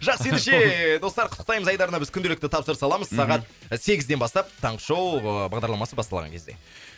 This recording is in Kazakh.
жақсы ендеше достар құттықтаймыз айдарына біз күнделікті тапсырыс аламыз мхм сағат сегізден бастап таңғы шоу ы бағдарламасы басталған кезде